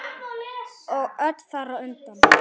Og öll þar á undan.